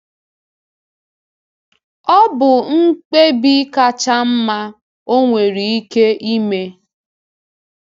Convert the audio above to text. Ọ bụ mkpebi kacha mma ọ nwere ike ime.